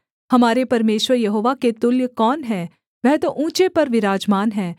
हमारे परमेश्वर यहोवा के तुल्य कौन है वह तो ऊँचे पर विराजमान है